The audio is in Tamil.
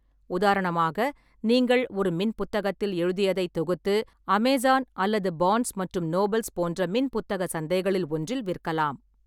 உதாரணமாக, நீங்கள் ஒரு மின்புத்தகத்தில் எழுதியதைத் தொகுத்து அமேசான் அல்லது பார்ன்ஸ் மற்றும் நோபல்ஸ் போன்ற மின்புத்தக சந்தைகளில் ஒன்றில் விற்கலாம்.